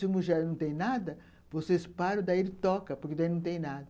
Se o não tem nada, vocês param, daí ele toca, porque daí não tem nada.